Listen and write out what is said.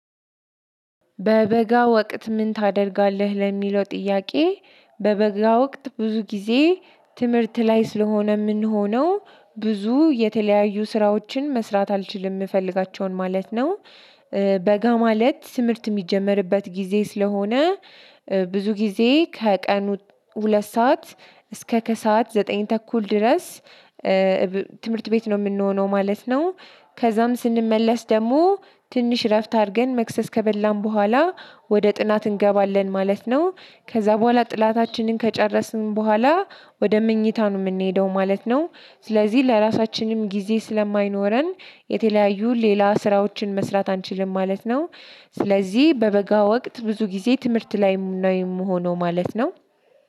በበጋ ወቅት ምን ታደርጋለህ ለሚለው ጥያቄ? በበጋ ወቅት ብዙ ጊዜ ትምህርት ላይ ስለሆነ የምንሆነው ብዙ የተለያዩ ስራዎችን መስራት አልችልም የምፈልጋቸውን ማለት ነው። በጋ ማለት ትምህርት እሚጀመርበት ጊዜ ስለሆነ። ብዙ ጊዜ ከቀኑ ሁለት ሰዓት እስከ ከሰአት ዘጠኝ ተኩል ድረስ ትምህርት ቤት ነው የምንሆነው ማለት ነው። ከዛም ስንመለስ ደግሞ ትንሽ እረፍት አድርገን መክሰስ ከበላን በኋላ ወደ ጥናት እንገባለን ማለት ነው። ከዛ በኋላ ጥላታችንን ከጨረስን በኋላ ወደ መኝታ ነው የምንሄደው ማለት ነው። ስለዚህ ለራሳችንም ጊዜ ስለማይኖረን የተለያዩ ሌላ ስራዎችን መስራት አንችልም ማለት ነው። ስለዚህ በበጋ ወቅት ብዙ ጊዜ ትምህርት ላይም ነው የምሆነው ማለት ነው።